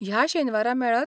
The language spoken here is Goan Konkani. ह्या शेनवारा मेळत?